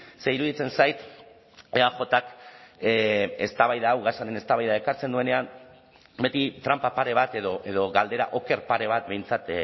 ze iruditzen zait eajk eztabaida hau gasaren eztabaida ekartzen duenean beti tranpa pare bat edo galdera oker pare bat behintzat